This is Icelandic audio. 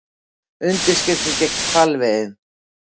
Undirskriftir gegn hvalveiðum